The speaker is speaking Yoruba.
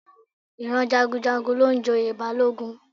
Ìran Jagunjagun ló ń joyè Balógun